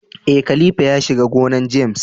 Eh, khalifa ya shiga gonan James.